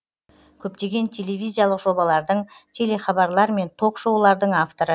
көптеген телевизиялық жобалардың телехабарлар мен ток шоулардың авторы